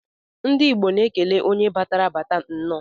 Ndi igbo na ekele onye batara abats nnọ.